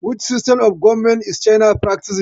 Which system of government is China practicing?